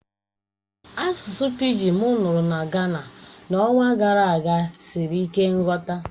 Asụsụ pịgịn m nụrụ na Gana n'ọnwa gara aga siri ike nghọta